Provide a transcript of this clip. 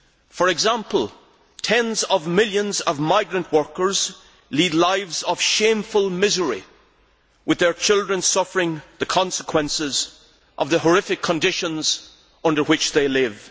For example, tens of millions of migrant workers lead lives of shameful misery, with their children suffering the consequences of the horrific conditions under which they live.